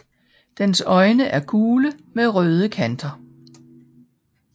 Dens øjne er gule med røde kanter